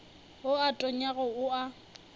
wo o tonyago o a